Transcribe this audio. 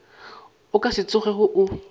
o ka se tsogego o